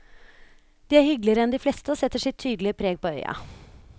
De er hyggeligere enn de fleste og setter sitt tydelige preg på øya.